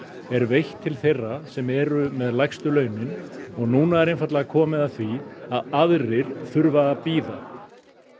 er veitt til þeirra sem eru með lægstu launin og núna er einfaldlega komið að því að aðrir þurfa að bíða